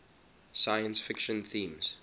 science fiction themes